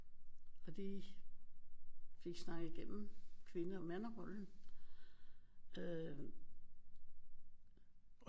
Og lige fik snakket igennem kvinde og manderollen